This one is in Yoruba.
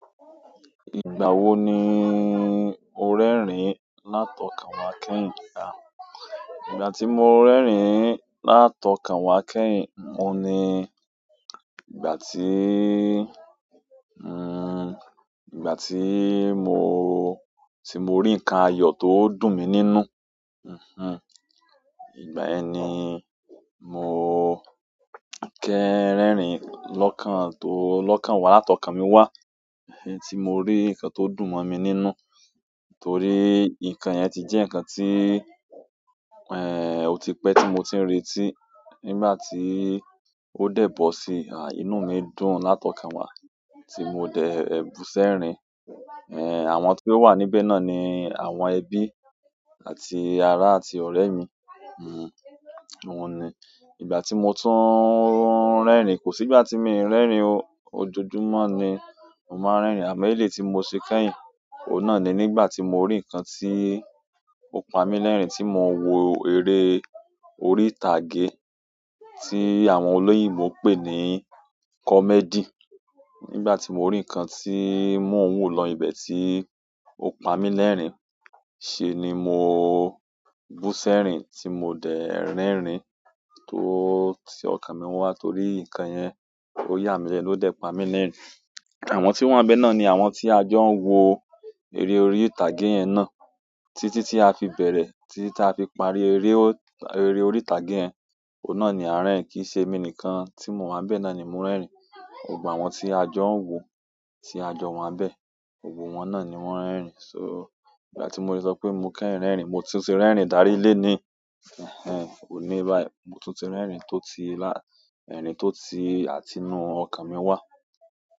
Ìgbà wo ni o rẹ́rìn látọ̀kàn wá kẹ́yìn? Ìgbà tí mo rẹ́rìn látọ̀kàn wá kẹ́yìn, oun ní ìgbà tí mo rí nǹkan ayọ̀ tó dùn mi nínú. Ìgbà yẹn ni mo rẹ́rìn látọ̀kàn mi wá, tí mo rí nǹkan tó dùn mọ́ mi nínú. Nítorí nǹkan yẹn ti jẹ́ nǹkan tí, o ti pẹ́ tí mo ti n reti, nígbà tí ó dẹ̀ bọ̀ sí, inú mi dùn látọ̀kàn wá tí mo dẹ̀ bu sẹ́rìn. Àwọn tí o wà níbẹ̀ náà ni àwọn ẹbí àti ará àti ọ̀rẹ́ mi. Òun ni. Ìgbà tí mo tún rẹ́rìn, kò sí ìgbà tí mi rẹ́rìn ojoojúmọ́ ni mo máa ń rẹ́rìn àmọ́ ilé tí mo ṣe kẹ́yìn, òun náà ni nígbà tí mo rí nǹkan tí ó pa mí lẹ́rìn tí mo wo eré orí ìtàgé tí àwọn olóyìnbo ń pè ní comedy. Nígbà tí mo rí nǹkan tí mọ́ n wo níbẹ̀ tí ó pa mí lẹ́rìn ṣe ni mo bú sẹ́rìn tí mo dẹ̀ rẹ́rìn tó ti ọ̀kàn mi wá torí nǹkan yẹn ó yà mí lẹ́nu o de pa mí lẹ́rìn. Àwọn to wa nbẹ́ náà ni àwọn tí a jọ ń wo eré orí ìtàgé yẹn náà. Títí tí a fi bẹ̀rẹ̀, títí tí a fi parí eré, eré orí ìtàgé yẹn, òun náà ni a rẹ́rìn kì í ṣe mi nìkan tí mò wà níbẹ̀ náà ni mo rẹ́rìn. Gbogbo àwọn ti a jo n wo ti a jo wa nbe gbogbo won náà ni won rerin so ìgbà ti mo le so pe mo kẹ́yìn rerin, mo tun ti rerin dari loni bayi mo tun ti rerin to ti àti inú okan mi wa.